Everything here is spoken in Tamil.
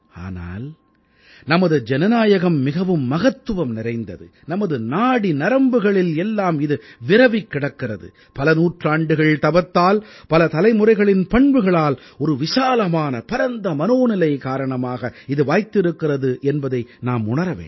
ஆனால் நமது ஜனநாயகம் மிகவும் மகத்துவம் நிறைந்தது நமது நாடி நரம்புகளில் எல்லாம் இது விரவிக் கிடக்கிறது பல நூற்றாண்டுகள் தவத்தால் பல தலைமுறைகளின் பண்புகளால் ஒரு விசாலமான பரந்த மனோநிலை காரணமாக இது வாய்த்திருக்கிறது என்பதை நாம் உணர வேண்டும்